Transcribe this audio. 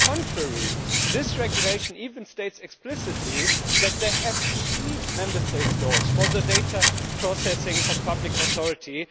On the contrary, this regulation even states explicitly that there have to be Member State laws for data processing by public authorities.